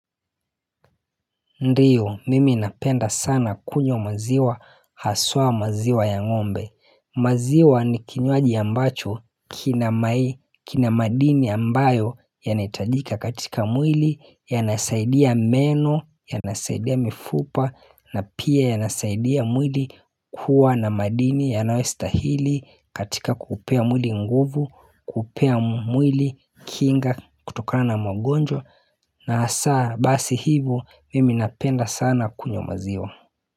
Ndiyo mimi napenda sana kunywa maziwa haswa maziwa ya ngombe maziwa ni kinywaji ambacho kina madini ambayo yanahitajika katika mwili yanasaidia meno ya nasaidia mifupa na pia yanasaidia mwili kuwa na madini ya nayostahili katika kupea mwili nguvu kupea mwili kinga kutokana na magonjwa na asaa basi hivo mimi napenda sana kunywa maziwa.